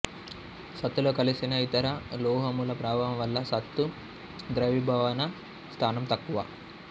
సత్తులో కలిసిన ఇతర లోహముల ప్రభావం వల్ల సత్తు ద్రవీభవన స్థానం తక్కువ